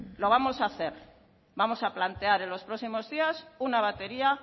lo vamos a hacer vamos a plantear en los próximos días una batería